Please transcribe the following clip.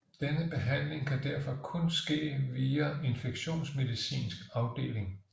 Denne behandling kan derfor kun ske via en infektionsmedicinsk afdeling